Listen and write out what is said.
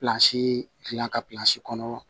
Pilansi dilan ka kɔnɔ